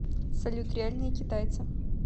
салют реальные китайцы